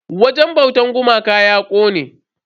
Wajen bautan gumakan ya kone.